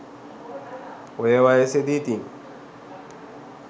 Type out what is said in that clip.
ඔය වයසෙදි ඉතිං